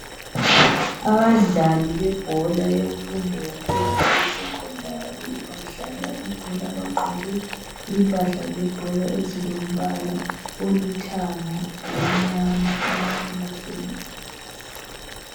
Abadlali yebhola yemfundo yaphezulu esecondary badlala ibhola bagqoke impahla zebhola ezilombala olithanga lomnyama bahlezi phansi.